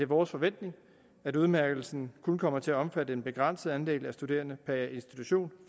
vores forventning at udmærkelsen kun kommer til at omfatte en begrænset andel af studerende per institution